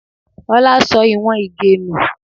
Ọlá sọ ìwọ̀n Ige nù